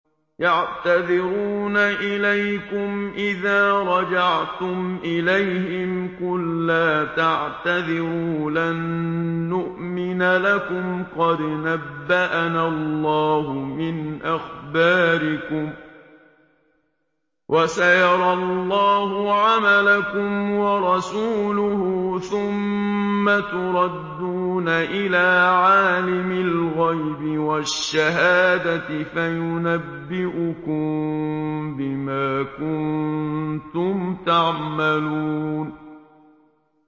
يَعْتَذِرُونَ إِلَيْكُمْ إِذَا رَجَعْتُمْ إِلَيْهِمْ ۚ قُل لَّا تَعْتَذِرُوا لَن نُّؤْمِنَ لَكُمْ قَدْ نَبَّأَنَا اللَّهُ مِنْ أَخْبَارِكُمْ ۚ وَسَيَرَى اللَّهُ عَمَلَكُمْ وَرَسُولُهُ ثُمَّ تُرَدُّونَ إِلَىٰ عَالِمِ الْغَيْبِ وَالشَّهَادَةِ فَيُنَبِّئُكُم بِمَا كُنتُمْ تَعْمَلُونَ